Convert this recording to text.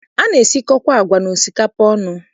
A na-esikọkwa agwa na osikapa ọnụ.